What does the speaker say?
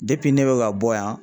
ne bɛ ka bɔ yan